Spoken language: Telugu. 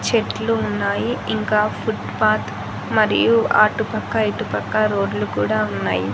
చెట్లు ఉన్నాయి ఇంకా ఫుట్ పాత్ మరియు అటు పక్క ఇటు పక్క రోడ్లు కూడా ఉన్నాయి.